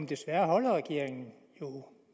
desværre holder regeringen jo